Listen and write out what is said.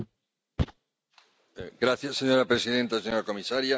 Señora presidenta, señora comisaria, soy yo otra vez.